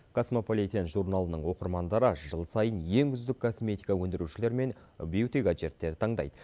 касмополитен журналының оқырмандары жыл сайын ең үздік косметика өндірушілер мен бьюти гаджеттерді таңдайды